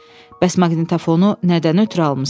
Bəs maqnitofonu nədən ötrü almısan?